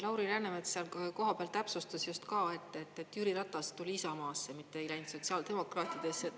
Lauri Läänemets seal koha peal täpsustas just ka, et Jüri Ratas tuli Isamaasse, mitte ei läinud sotsiaaldemokraatidesse.